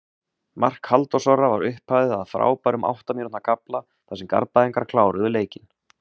Mark Halldórs Orra var upphafið af frábærum átta mínútna kafla þar sem Garðbæingarnir kláruðu leikinn.